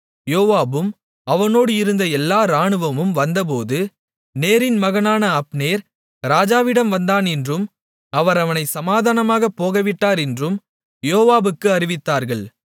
யோவாபும் அவனோடு இருந்த எல்லா இராணுவமும் வந்தபோது நேரின் மகனான அப்னேர் ராஜாவிடம் வந்தான் என்றும் அவர் அவனைச் சமாதானமாகப் போகவிட்டார் என்றும் யோவாபுக்கு அறிவித்தார்கள்